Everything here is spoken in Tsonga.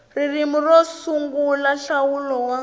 ririmi ro sungula nhlawulo wa